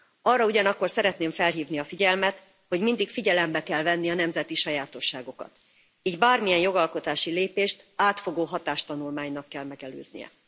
Arra ugyanakkor szeretném felhívni a figyelmet, hogy mindig figyelembe kell venni a nemzeti sajátosságokat, így bármilyen jogalkotási lépést átfogó hatástanulmánynak kell megelőznie.